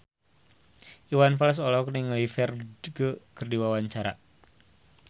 Iwan Fals olohok ningali Ferdge keur diwawancara